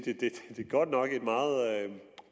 at det godt nok